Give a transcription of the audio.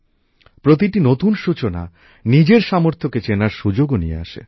প্রতিটি নতুন সূচনা নিজের সামর্থ্যকে চেনার সুযোগও নিয়ে আসে